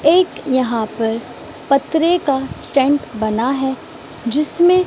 एक यहां पर पथरे का स्टैंड बना है जिसमें--